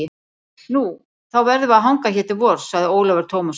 Nú, þá verðum við að hanga hér til vors, sagði Ólafur Tómasson.